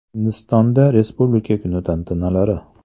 Hindistonda Respublika kuni tantanalari.